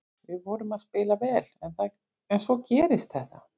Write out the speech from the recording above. Við vorum að spila vel en svo gerist þetta.